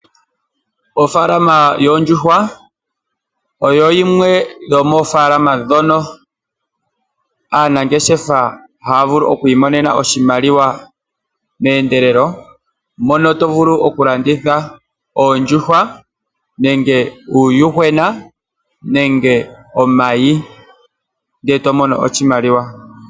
Ofaalama yoondjuhwa oyo yimwe yo moofaalama ndhoka aanangeshefa haya vulu okwiimonena mo oshimaliwa meendelelo, mono tovulu okulanditha oondjuhwa, uuyuhwena nenge omayi ndele eto mono oshimaliwa.